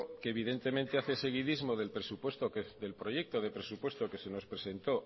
que evidentemente hace seguidismo del proyecto de presupuesto que se nos presentó